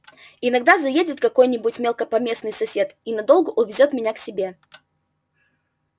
иногда заедет какой-нибудь мелкопоместный сосед и надолго увезёт меня к себе